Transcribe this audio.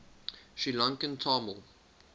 sri lankan tamil